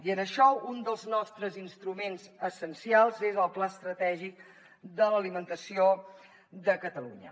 i en això un dels nostres instruments essencials és el pla estratègic de l’alimentació de catalunya